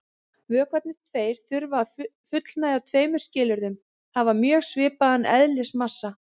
Vökvarnir tveir þurfa að fullnægja tveimur skilyrðum: Hafa mjög svipaðan eðlismassa.